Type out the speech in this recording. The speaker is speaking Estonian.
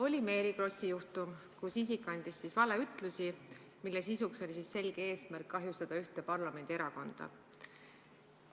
Oli Mary Krossi juhtum, kus isik andis valeütlusi, mille selge eesmärk oli kahjustada ühte parlamendierakonda.